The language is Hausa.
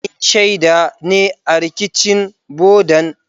Ni shaida ne a rikicin bodan.